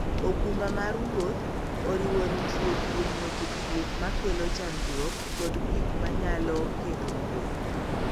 okumba mar wuoth oriwo ritruok kuom weche thieth makelo chandruok kod gik manyalo ketho wuoth.